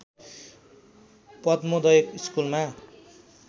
पद्मोदय स्कुलमा